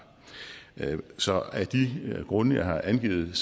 så af de grunde jeg har angivet